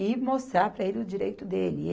E mostrar para ele o direito dele.